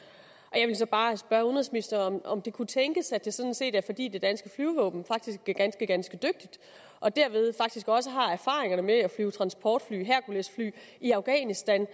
jeg vil så bare spørge udenrigsministeren om det kunne tænkes at det sådan set er fordi det danske flyvevåben faktisk er ganske ganske dygtigt og derved faktisk også har erfaringerne med at flyve transportfly herculesfly i afghanistan